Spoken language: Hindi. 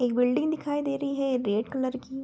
एक बिल्डिंग दिखाई दे रही है रेड कलर की।